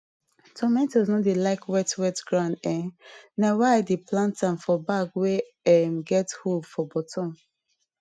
tomatoes no like wet wet ground um na why i dey plant am for bag wey um get hole for bottom